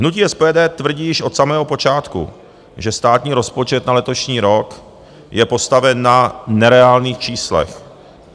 Hnutí SPD tvrdí již od samého počátku, že státní rozpočet na letošní rok je postaven na nereálných číslech.